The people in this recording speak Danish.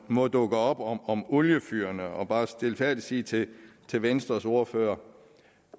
måtte dukke op om om oliefyrene og bare stilfærdigt sige til til venstres ordfører